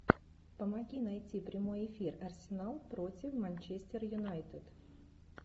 помоги найти прямой эфир арсенал против манчестер юнайтед